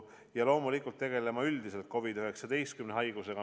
Ja loomulikult tegeleme üldiselt COVID-19 haigusega.